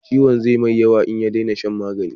Ciwon zai mai yawa in ya dena shan magani